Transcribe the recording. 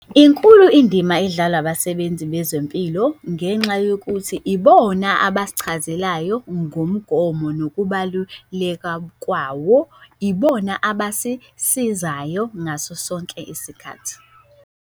Inkulu indima edlalwa abasebenzi bezempilo ngenxa yokuthi ibona abasichazelayo ngomgomo nokubaluleka kwawo, ibona abasisizayo ngaso sonke isikhathi.